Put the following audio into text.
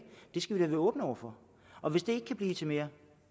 skal vi da være åbne over for og hvis det kan blive til mere